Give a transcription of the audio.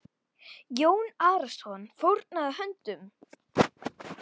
Jón Arason fórnaði höndum.